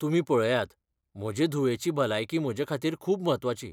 तुमी पळयात, म्हजे धुवेची भलायकी म्हजेखातीर खूब म्हत्वाची.